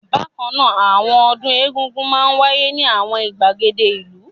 Bákan náà, àwọn ọdún Egúngún máa ń wáyé ní àwọn ìgbàgede ìlú.